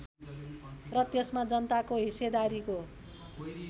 र त्यसमा जनताको हिस्सेदारीको